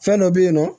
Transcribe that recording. Fɛn dɔ be yen nɔ